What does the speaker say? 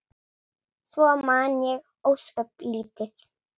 Svo man ég ósköp lítið.